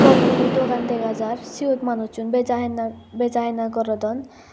phol mulo dogan dega jar siyot manuchun beja hina beja hina gorodon.